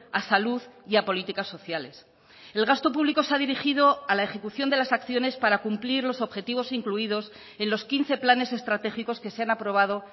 a salud y a políticas sociales el gasto público se ha dirigido a la ejecución de las acciones para cumplir los objetivos incluidos en los quince planes estratégicos que se han aprobado